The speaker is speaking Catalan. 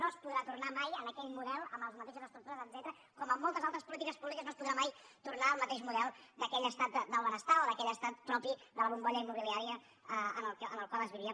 no es podrà tornar mai a aquell model amb les mateixes estructures etcètera com en moltes altres polítiques públiques no es podrà mai tornar al mateix model d’aquell estat del benestar o d’aquell estat propi de la bombolla immobiliària en què es vivia